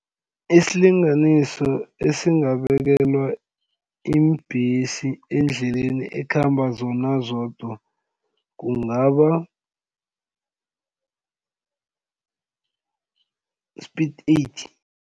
Isilinganiso esingabekelwa iimbhesi endleleni ekhamba zona zodwa kungaba speed eighty.